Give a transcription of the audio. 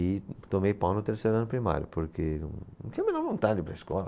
E tomei pau no terceiro ano primário, porque não tinha a menor vontade de ir para a escola.